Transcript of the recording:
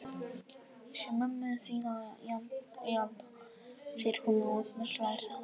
Ég sé mömmu þína í anda, segir hún og Agnes hlær þá líka.